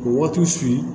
Waatiw